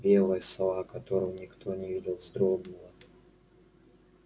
белая сова которую никто не видел вздрогнула